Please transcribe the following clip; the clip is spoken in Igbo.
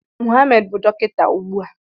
Mohammed bụ dọkịta ugbu a.